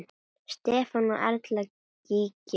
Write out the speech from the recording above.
Stefán og Erla Gígja.